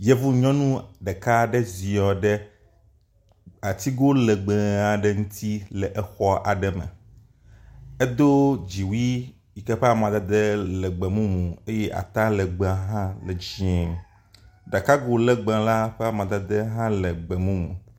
Yevu nyɔnu ɖeka aɖe ziɔ ɖe atigo legbe aɖe ŋuti le xɔ aɖe me. Edo dziwui yi ke ƒe amadede le gbemumu eye atalegbea hã le dzie. Ɖakago legbe la ƒe amadede hã le gbemumu.